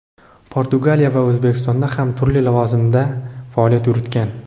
Portugaliya va O‘zbekistonda ham turli lavozimda faoliyat yuritgan.